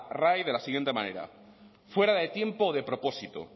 rae de la siguiente manera fuera de tiempo o de propósito